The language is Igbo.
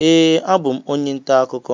Ee, abụ m onye nta akụkọ.